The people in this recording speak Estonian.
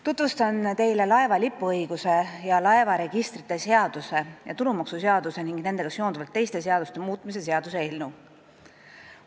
Tutvustan teile laeva lipuõiguse ja laevaregistrite seaduse muutmise ning tulumaksuseaduse ja nendega seonduvalt teiste seaduste muutmise seaduse eelnõu.